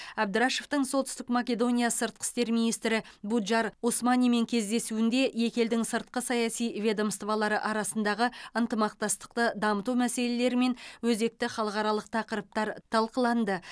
әбдірашовтың солтүстік македония сыртқы істер министрі буджар османимен кездесуінде екі елдің сыртқы саяси ведомстволары арасындағы ынтымақтастықты дамыту мәселелері мен өзекті халықаралық тақырыптар талқыланды